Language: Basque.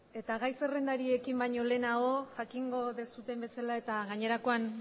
eta gai zerrendari ekin baino lehenago jakingo duzuen bezala eta gainerakoan